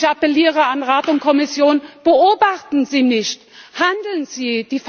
Ich appelliere an Rat und Kommission Beobachten Sie nicht, handeln Sie!